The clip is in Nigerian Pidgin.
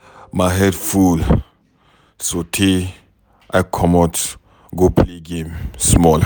My head full so tey I comot go play game small.